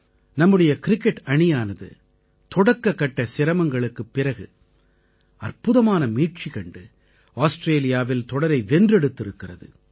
நம்முடைய கிரிக்கெட் அணியானது தொடக்ககட்ட சிரமங்களுக்குப் பிறகு அற்புதமான மீட்சி கண்டு ஆஸ்திரேலியாவில் தொடரை வென்றெடுத்திருக்கிறது